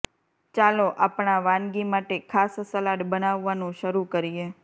ચાલો આપણા વાનગી માટે ખાસ સલાડ બનાવવાનું શરૂ કરીએ